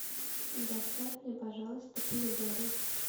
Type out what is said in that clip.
доставь мне пожалуйста помидоры